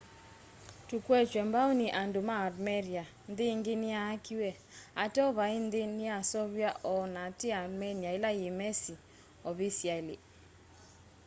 tukwetwe mbau ni andu ma armeria nthi ingi niyaakiwe ateo vai nthi ndyaaseuvw'a o na ti armenia ila yimesi ovisiali